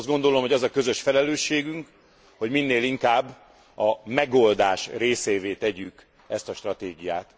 Azt gondolom, hogy a közös felelősségünk, hogy minél inkább a megoldás részévé tegyük ezt a stratégiát.